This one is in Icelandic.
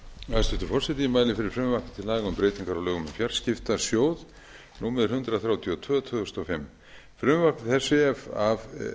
forseti ég mæli fyrir frumvarpi til laga um breytingu á lögum um fjarskiptasjóð númer hundrað þrjátíu og tvö tvö þúsund og fimm frumvarpi þessu ef að